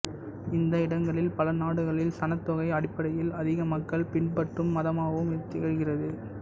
இந்த இடங்களில் பலநாடுகளில் சனத்தொகை அடிப்படையில் அதிக மக்கள் பின்பற்றும் மதமாகவும் இது திகழ்கிறது